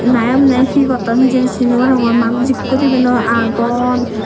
na emney he gotton hijeni sini noarongor manuj ekko dibey noi agon.